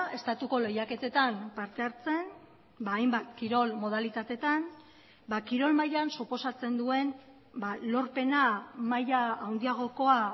estatuko lehiaketetan parte hartzen hainbat kirol modalitatetan kirol mailan suposatzen duen lorpena maila handiagokoa